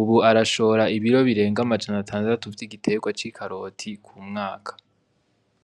ubu arashora ibiro birenga amajana atandatu vy'igiterwa c'ikaroti k'umwaka.